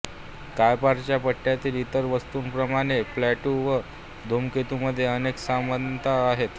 कायपरच्या पट्ट्यातील इतर वस्तूंप्रमाणे प्लूटो व धूमकेतूंमध्ये अनेक समानता आहेत